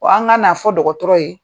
Ko an ka na fɔ ye